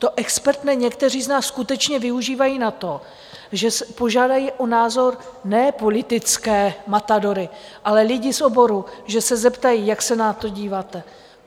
To expertné někteří z nás skutečně využívají na to, že požádají o názor ne politické matadory, ale lidi z oboru, že se zeptají, jak se na to díváte.